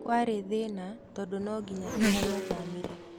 Kwarĩ thĩna tondu nonginya tũngĩathimire